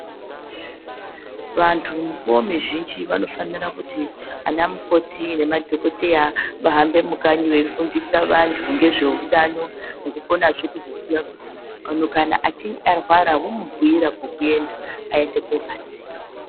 Vantu vovazhinji vanofanira kuti vana mukoti nemadhokodheya ahambe mukanyi eidetsera antu nezvehutano eiko zvekudetsera antu achinge arwara vomubhuira kwekuenda aende kobatsirwa.